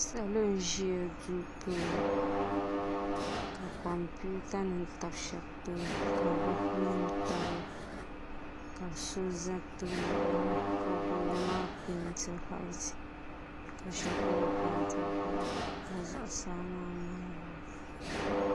Salo n ʒi duu puuni ka kompiuta nim tam shab tooni ka buku nim tamya ka bi so ʒɛ tooni ga gooni maa peenti whaait ka shɛli polo peenti bilak ka zuɣusaa maa niŋ whait